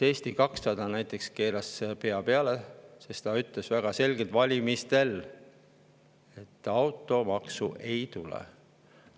Eesti 200 näiteks keeras pea peale, sest ta ütles valimistel väga selgelt, et automaksu ei tule.